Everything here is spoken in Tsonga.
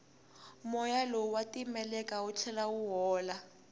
moya lowu wa titimela wu tlhela wu hola